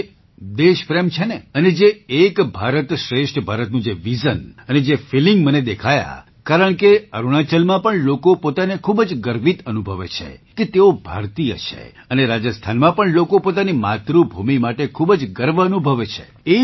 કે જે દેશપ્રેમ છે ને અને જે એક ભારત શ્રેષ્ઠ ભારતનું જે વિઝન અને જે ફિલિંગ મને દેખાયાં કારણકે અરુણાચલમાં પણ લોકો પોતાને ખૂબ જ ગર્વિત અનુભવે છે કે તેઓ ભારતીય છે અને રાજસ્થાનમાં પણ લોકો પોતાની માતૃભૂમિ માટે ખૂબ જ ગર્વ અનુભવે છે